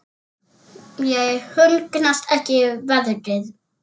Mér hugnast ekki veðrið.